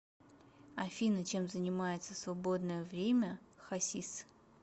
афина чем занимается в свободное время хасис